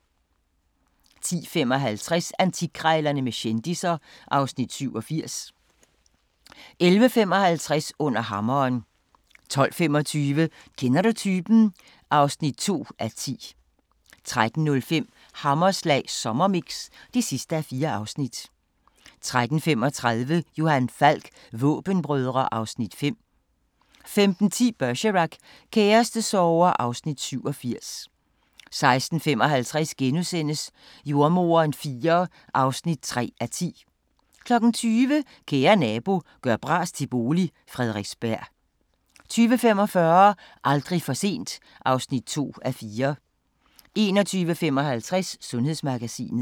10:55: Antikkrejlerne med kendisser (Afs. 87) 11:55: Under hammeren 12:25: Kender du typen? (2:10) 13:05: Hammerslag Sommermix (4:4) 13:35: Johan Falk: Våbenbrødre (Afs. 5) 15:10: Bergerac: Kærestesorger (Afs. 87) 16:55: Jordemoderen IV (3:10)* 20:00: Kære nabo – gør bras til bolig – Frederiksberg 20:45: Aldrig for sent (2:4) 21:55: Sundhedsmagasinet